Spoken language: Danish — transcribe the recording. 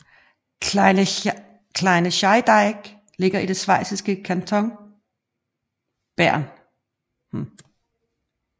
Kleine Scheidegg ligger i den schweiziske kanton Bern